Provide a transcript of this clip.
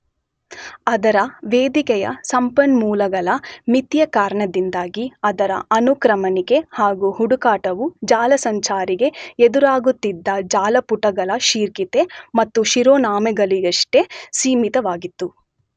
ಅದರ ವೇದಿಕೆಯ ಸಂಪನ್ಮೂಲಗಳ ಮಿತಿಯ ಕಾರಣದಿಂದಾಗಿ ಅದರ ಅನುಕ್ರಮಣಿಕೆ ಹಾಗೂ ಹುಡುಕಾಟವು ಜಾಲಸಂಚಾರಿಗೆ ಎದುರಾಗುತ್ತಿದ್ದ ಜಾಲಪುಟಗಳ ಶೀರ್ಷಿಕೆ ಮತ್ತು ಶಿರೋನಾಮೆಗಳಿಗಷ್ಟೆ ಸೀಮಿತವಾಗಿತ್ತು.